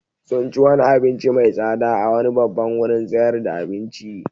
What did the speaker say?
Sun ci wani abinci mai tsada a wani babban wurin sayar da abinci.